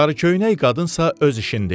Sarıköynək qadınsa öz işində idi.